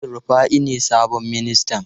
El Rufai ne sabon ministan?